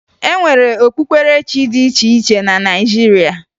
E nwere okpukperechi dị iche iche na Naịjirịa